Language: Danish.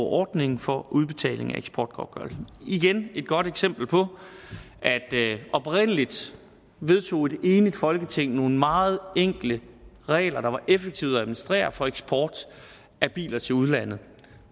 ordningen for udbetaling af eksportgodtgørelse igen er det et godt eksempel på at oprindelig vedtog et enigt folketing nogle meget enkle regler der var effektive at administrere for eksport af biler til udlandet